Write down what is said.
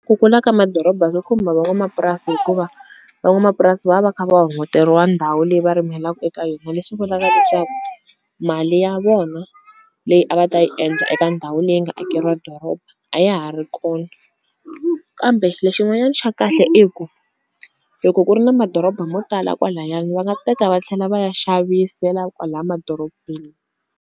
Ku kula ka madoroba swi khumba van'wamapurasi hikuva van'wamapurasi va va kha va hunguteriwa ndhawu leyi va rimelaku eka yona leswi vulaka leswaku mali ya vona leyi a va ta yi endla eka ndhawu leyi nga akeriwa doroba a ya ha ri kona kambe lexin'wanyani xa kahle i ku loko ku ri na madoroba mo tala kwalayani va nga teka va tlhela va ya xavisela kwala madorobeni.